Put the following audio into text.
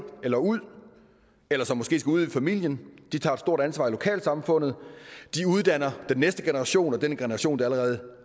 eller ud eller som måske skal ud i familien de tager et stort ansvar i lokalsamfundet de uddanner den næste generation og den generation der allerede